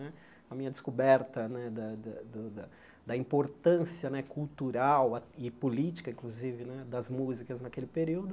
Né a minha descoberta né da da da da importância né cultural e política, inclusive né, das músicas naquele período.